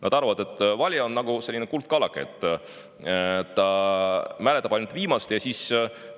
Nad arvavad, et valija on nagu kuldkalake, kes mäletab ainult viimati.